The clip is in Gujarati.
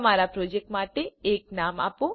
તમારા પ્રોજેક્ટ માટે એક નામ આપો